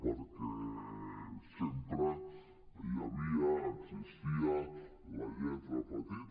perquè sempre hi havia existia la lletra petita